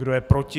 Kdo je proti?